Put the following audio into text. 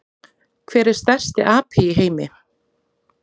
Hver er stærsti api í heimi?